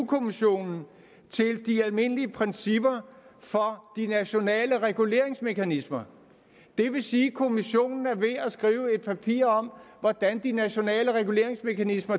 kommissionen til de almindelige principper for de nationale reguleringsmekanismer det vil sige at kommissionen at skrive et papir om hvordan de nationale reguleringsmekanismer